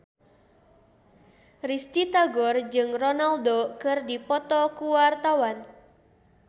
Risty Tagor jeung Ronaldo keur dipoto ku wartawan